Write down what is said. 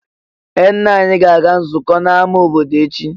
Ee! Nna anyị ga-aga nzukọ n'amá obodo echi.